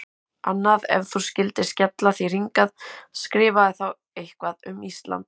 Annað: Ef þú skyldir skella þér hingað, skrifaðu þá eitthvað um Ísland.